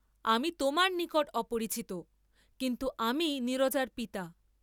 আমি তােমার নিকট অপরিচিত, কিন্তু আমিই নীরজার পিতা।